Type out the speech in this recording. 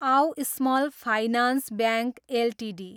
आउ small finance bank Ltd